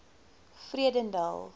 vredendal